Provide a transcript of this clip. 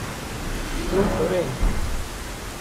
No, torej?